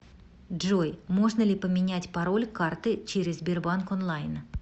джой можно ли поменять пароль карты через сбербанк онлайн